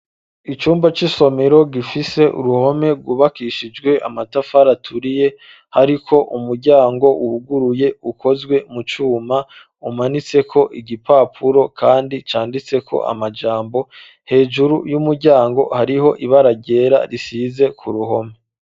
Icumba c'isomero gifise uruhome ryubakishijwe amatafara turiye hariko umuryango wuguruye ukozwe mu cuma umanitseko igipapuro kandi canditseko amajambo hejuru y'umuryango hariho ibaragera risize ku ruhome.